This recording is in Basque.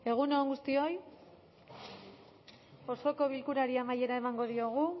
egun on guztioi osoko bilkurari amaiera emango diogu